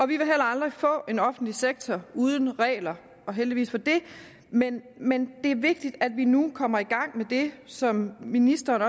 vi vil heller aldrig få en offentlig sektor uden regler og heldigvis for det men men det er vigtigt at vi nu kommer i gang med det som ministeren